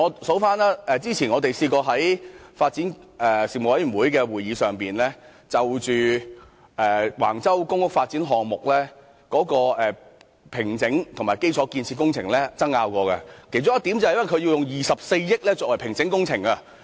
主席，例如我們曾在發展事務委員會會議上，就橫洲公屋發展項目的工地平整和基礎建設工程爭拗，其中一點是關於使用24億元進行工地平整工程。